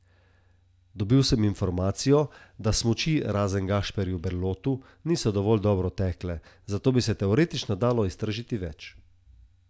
Dobil sem informacijo, da smuči razen Gašperju Berlotu niso dovolj dobro tekle, zato bi se teoretično dalo iztržiti več.